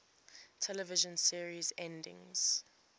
television series endings